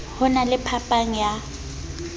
ho na le phapang ya